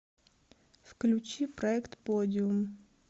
включи проект подиум